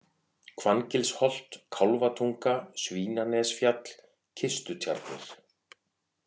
Hvanngilsholt, Kálfatunga, Svínanesfjall, Kistutjarnir